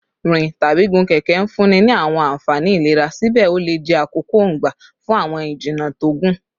Rin tabi gigun keke nfunni ni awọn anfani ilera, sibẹ o le jẹ akoko-n gba fun awọn ijinna to gun